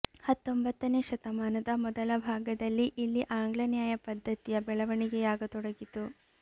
ಹತ್ತೊಂಬತ್ತನೇ ಶತಮಾನದ ಮೊದಲ ಭಾಗದಲ್ಲಿ ಇಲ್ಲಿ ಆಂಗ್ಲ ನ್ಯಾಯ ಪದ್ಧತಿಯ ಬೆಳವಣಿಗೆಯಾಗತೊಡಗಿತು